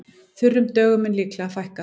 Þurrum dögum mun líklega fækka